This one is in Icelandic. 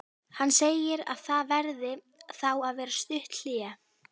Hann segir að það verði þá að vera stutt hlé.